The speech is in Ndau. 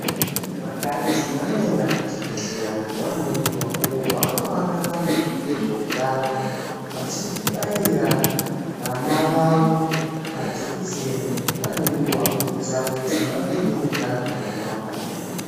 Vakadzi vanoenda kuchibhedhlera nguwa ngenguwa uko kwavanonowana vantu vezveutano vachibaira vana vavo majikiseni nguwa nenguwa kuitira kuti vave neutano hwakanaka.